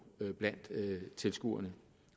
blandt tilskuerne